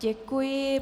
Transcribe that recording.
Děkuji.